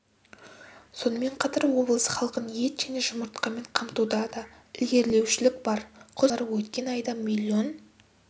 сонымен қатар облыс халқын ет және жұмыртқамен қамтуда да ілгерілеушілік бар құс фермалары өткен айда миллион